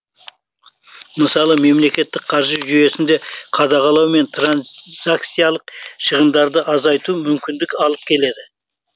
мысалы мемлекеттік қаржы жүйесінде қадағалау мен транзакциялық шығындарды азайтуға мүмкіндік алып келеді